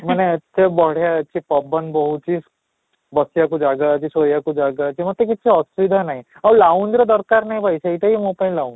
ମାନେ କେତେ ବଢିଆ ଅଛି ପବନ ବହୁଛି, ବସି ବାକୁ ଜାଗା ଅଛି ଶୋଇ ବାକୁ ଜାଗା ଅଛି, ମୋତେ କିଛି ଅସୁବିଧା ନାହିଁ, ଆଉ ର ଦରକାର ନାହିଁ ଭାଇ ସେଇଟା ବି ମୋତେ